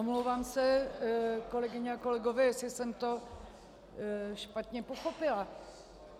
Omlouvám se, kolegyně a kolegové, jestli jsem to špatně pochopila.